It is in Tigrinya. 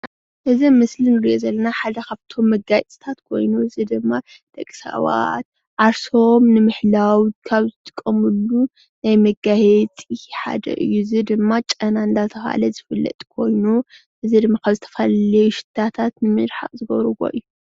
እዚ ኣብ ምስሊ እንሪኦ ዘለና ሓደ ካብቶም መጋየፅታት ኮይኑ እዚ ድማ ደቂ ሰባት ዓርሶም ንምሕላው ካብ ዝጥቀምሉ ናይ መጋየፂ ሓደ እዩ፡፡ እዚ ድማ ጨና እናተባሃለ ዝፍለጥ ኮይኑ እዚ ድማ ካብ ዝተፈላለዩ ሽቶታት ንምርሓቅ ዝገብርዎ እዩ፡፡